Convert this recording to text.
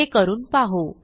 हे करून पाहू